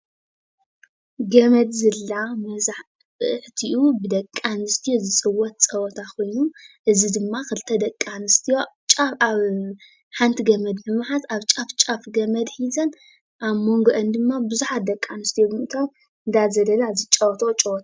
ገመድ ዝላ መብዛሕቲኡ ብደቂኣንስትዮ ዝፅወት ፀዋታ ኮይኑ እዚ ድማ ክልተ ደቂኣንስትዮ ሓንቲ ገመድ ብምሓዝ ኣብ ጫፍ ጫፍ ገመድ ሒዘን ኣብ መንጎአን ድማ ብዙሓት ደቂኣንስትዮ ብምእታዉ እናዘለላ ዝጫወትኦ ጨዋታ .....